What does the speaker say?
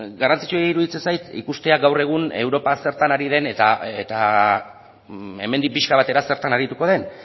garrantzitsua iruditzen zait ikustea gaur egun europa zertan ari den eta hemendik pixka batera zertan arituko den